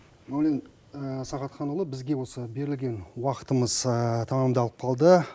мәулен сағатханұлы бізге осы берілген уақытымыз тәмамдалып қалды